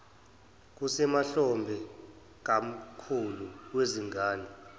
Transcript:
kusemahlombe kamkhulu wezingane